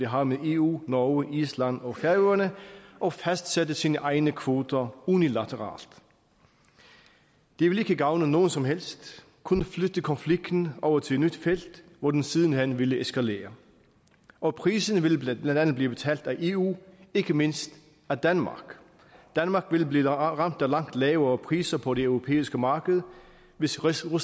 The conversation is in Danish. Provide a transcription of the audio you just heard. har med eu norge island og færøerne og fastsætte sine egne kvoter unilateralt det ville ikke gavne nogen som helst kun flytte konflikten over til et nyt felt hvor den siden hen ville eskalere og prisen ville blandt andet blive betalt af eu ikke mindst af danmark danmark ville blive ramt af langt lavere priser på det europæiske marked hvis rusland